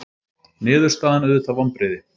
Niðurstaðan auðvitað vonbrigði